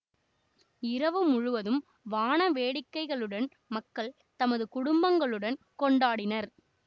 இரவு முழுவதும் வாணவேடிக்கைகளுடன் மக்கள் தமது குடும்பங்களுடன் கொண்டாடினர்